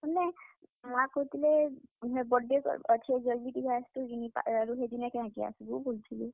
ବେଲେ ମା କହୁଥିଲେ birthday ଅଛେ ଜଲ୍ ଦି ଟିକେ ଆସ୍ ତୁ କିନି, ହେଦିନ କାଁ ହେଲାଯେ ଆସ୍ ବୁ ବଲୁଥିଲେ।